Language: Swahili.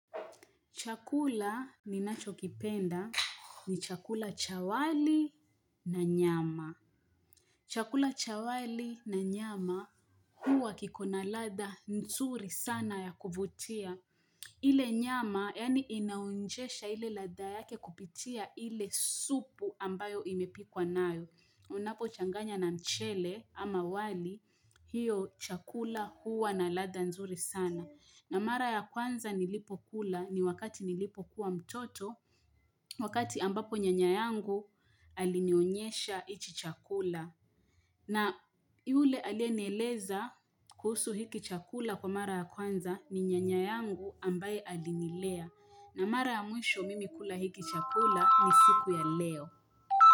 Chakula ni nachokipenda ni chakula cha wali na nyama. Chakula cha wali na nyama huwa kiko na ladha nzuri sana ya kuvutia. Ile nyama yani inaonjesha ile ladha yake kupitia ile supu ambayo imepikwa nayo. Unapo changanya na mchele ama wali hiyo chakula huwa na ladda nzuri sana. Na mara ya kwanza nilipo kula ni wakati nilipo kuwa mtoto wakati ambapo nyanyayangu alinionyesha hichi chakula. Na yule alienieleza kuhusu hiki chakula kwa mara ya kwanza ni nyanyayangu ambaye alinilea. Na mara ya mwisho mimi kula hiki chakula ni siku ya leo.